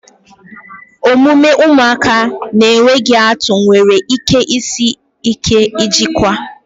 Omume ụmụaka na-enweghị atụ nwere ike isi ike ijikwa